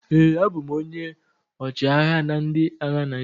ee, abụ m onye ọchịagha na ndị agha Naijiria